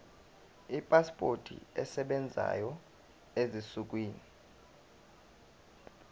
ipasipoti esebenzayo ezinsukwini